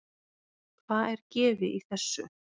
Hvað er gefið í þessu?